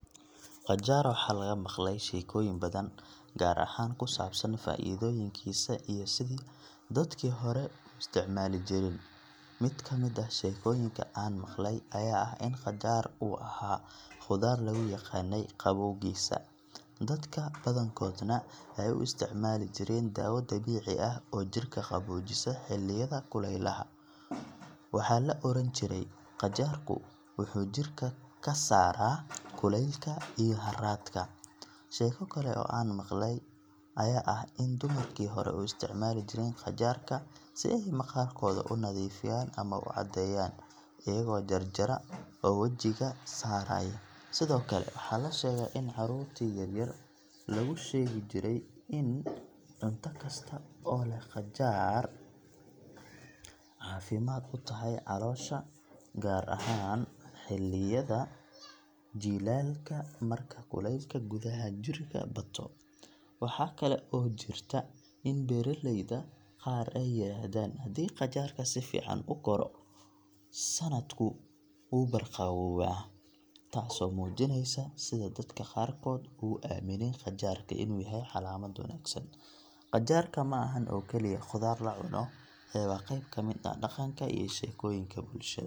Qajaar waxaa laga maqlay sheekooyin badan, gaar ahaan ku saabsan faa’iidooyinkiisa iyo sidi dadkii hore u isticmaali jireen. Mid ka mid ah sheekooyinka aan maqalay ayaa ah in qajaar uu ahaa khudaar lagu yaqaannay qabowgiisa, dadka badankoodna ay u isticmaali jireen daawo dabiici ah oo jirka qaboojisa xilliyada kulaylaha. Waxaa la odhan jiray, “qajaarku wuxuu jirka ka saaraa kulaylka iyo harraadka.” Sheeko kale oo aan maqlay ayaa ah in dumarkii hore u isticmaali jireen qajaarka si ay maqaarkooda u nadiifiyaan ama u caddeeyaan, iyagoo jar-jara oo wajiga saaraya. Sidoo kale, waxaa la sheegaa in caruurtii yaryar loogu sheegi jiray in cunto kasta oo leh qajaar ay caafimaad u tahay caloosha, gaar ahaan xilliyada jiilaalka marka kuleylka gudaha jirka bato. Waxaa kale oo jirta in beeraleyda qaar ay yiraahdaan: "Haddii qajaarka si fiican u koro, sanadku wuu barwaaqoobaa," taasoo muujinaysa sida dadka qaarkood ugu aamineen qajaarka inuu yahay calaamad wanaagsan. Qajaarka ma ahan oo kaliya khudaar la cuno, ee waa qayb ka mid ah dhaqanka iyo sheekooyinka bulshada.